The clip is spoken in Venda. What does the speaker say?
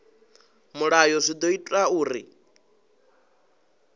mulayo zwi ḓo ita uri